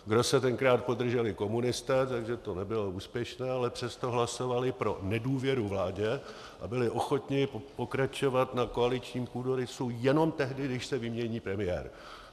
Grosse tenkrát podrželi komunisté, takže to nebylo úspěšné, ale přesto hlasovali pro nedůvěru vládě a byli ochotni pokračovat na koaličním půdorysu jenom tehdy, když se vymění premiér.